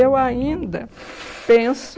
Eu ainda penso